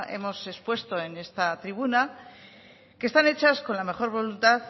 hemos expuesto en esta tribuna que están hechas con la mejor voluntad